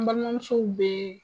N balimamusow bɛ